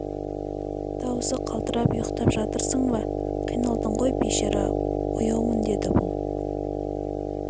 дауысы қалтырап ұйықтап жатырсың ба қиналдың ғой бейшара ояумын деді бұл